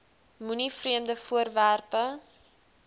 moenie vreemde voorwerpe